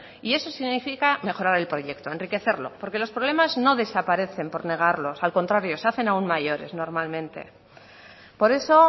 y eso significa mejorar el proyecto enriquecerlo porque los problemas no desaparecen por negarlos al contrario se hacen aún mayores normalmente por eso